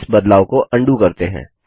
इस बदलाव को अंडू करते हैं